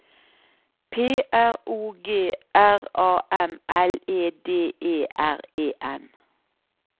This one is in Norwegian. P R O G R A M L E D E R E N